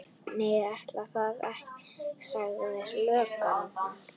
Nei, ætli það, sagði löggan.